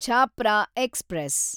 Chhapra express